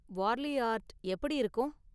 Warli art எப்படி இருக்கும்?